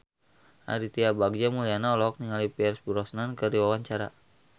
Aditya Bagja Mulyana olohok ningali Pierce Brosnan keur diwawancara